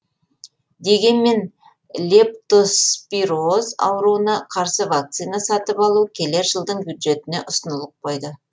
дегенмен лептоспироз ауруына қарсы вакцина сатып алу келер жылдың бюджетіне ұсынылып қойды